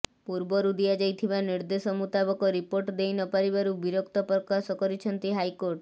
ପୂର୍ବରୁ ଦିଆଯାଇଥିବା ନିର୍ଦ୍ଦେଶ ମୁତାବକ ରିପୋର୍ଟ ଦେଇନପାରିବାରୁ ବିରକ୍ତ ପ୍ରକାଶ କରିଛନ୍ତି ହାଇକୋର୍ଟ